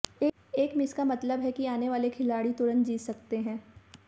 एक मिस का मतलब है कि आने वाले खिलाड़ी तुरंत जीत सकते हैं